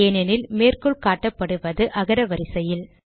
ஏனெனில் மேற்கோள் காட்டப்படுவது அகர வரிசையில்